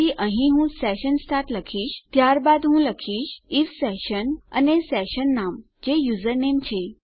તેથી અહીં હું સેશન સ્ટાર્ટ લખીશ ત્યારબાદ હું લખીશ આઇએફ સેશન અને સેશન નામ જે યુઝરનેમ છે